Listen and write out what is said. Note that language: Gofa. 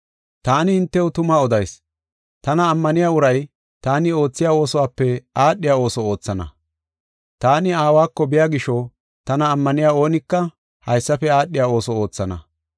“Taani hintew tuma odayis; tana ammaniya uray taani oothiya oosuwape aadhiya ooso oothana. Taani Aawako biya gisho tana ammaniya oonika haysafe aadhiya ooso oothana.